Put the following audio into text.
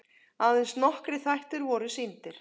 Aðeins nokkrir þættir voru sýndir.